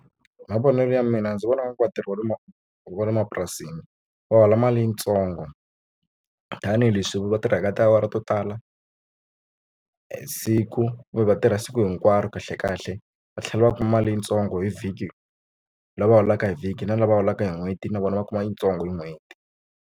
Hi mavonelo ya mina ndzi vona onge vatirhi va le ma wa le mapurasini va hola mali yitsongo tanihileswi va tirhaka tiawara to tala siku kumbe va tirha siku hinkwaro kahle kahle va tlhela va kuma mali yitsongo hi vhiki lava holaka hi vhiki na lava holaka hi n'hweti na vona va kuma yitsongo hi n'hweti.